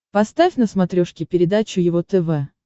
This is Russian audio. поставь на смотрешке передачу его тв